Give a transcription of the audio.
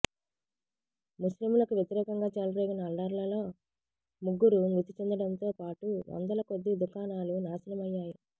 ముస్లింలకు వ్యతిరేకంగా చెలరేగిన అల్లర్లలో ముగ్గురు మృతిచెందడంతో పాటు వందల కొద్ది దుకాణాలు నాశనమయ్యాయి